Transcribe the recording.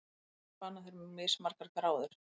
Hvers vegna spanna þeir mismargar gráður?